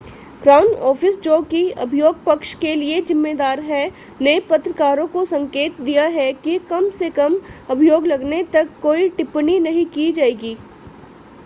crown Office जो कि अभियोग पक्ष के लिए ज़िम्मेदार है ने पत्रकारों को संकेत दिया है कि कम से कम अभियोग लगने तक कोई टिप्पणी नहीं की जाएगी